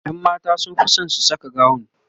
ƴan mata sunfi San su Saka gawun